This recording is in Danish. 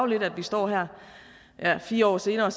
lidt at vi står her her fire år senere og